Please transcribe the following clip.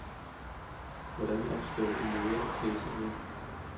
Hvordan opstår en måde at klæde sig på?